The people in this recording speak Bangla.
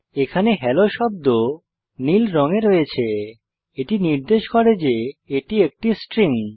এখানে হেলো শব্দ নীল রঙে রয়েছে এটি নির্দেশ করে যে এটি একটি স্ট্রিং